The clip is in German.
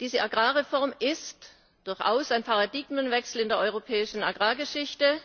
Diese Agrarreform ist durchaus ein Paradigmenwechsel in der europäischen Agrargeschichte